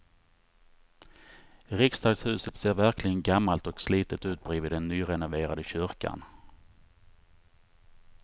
Riksdagshuset ser verkligen gammalt och slitet ut bredvid den nyrenoverade kyrkan.